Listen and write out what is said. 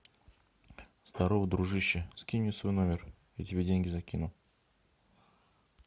здорово дружище скинь мне свой номер я тебе деньги закину